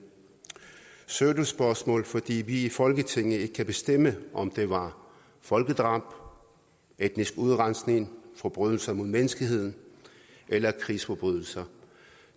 pseudospørgsmål fordi vi i folketinget ikke kan bestemme om det var folkedrab etnisk udrensning forbrydelser mod menneskeheden eller krigsforbrydelser